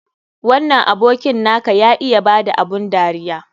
Wannan abokin na ka ya iya ba da abun dariya.